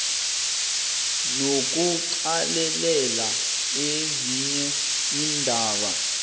nokuqalelela ezinye iindaba